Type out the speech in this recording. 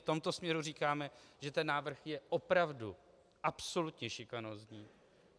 V tomto směru říkáme, že ten návrh je opravdu absolutně šikanózní.